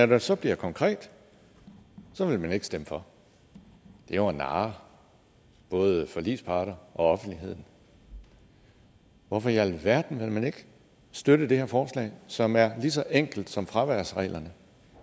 det så bliver konkret vil man ikke stemme for det er jo at narre både forligsparter og offentligheden hvorfor i alverden vil man ikke støtte det her forslag som er lige så enkelt som fraværsreglerne